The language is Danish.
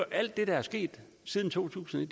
alt det der er sket siden to tusind og